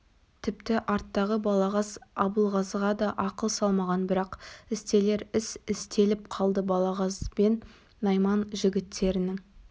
тіпті арттағы балағаз абылғазыға да ақыл салмаған бірақ істелер іс істеліп қалды балағаз бен найман жігіттерінің